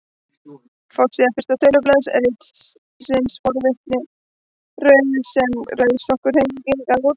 Forsíða fyrsta tölublaðs ritsins Forvitin rauð sem Rauðsokkahreyfingin gaf út.